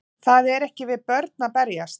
Það er ekki við börn að berjast